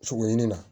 Sogo ɲini na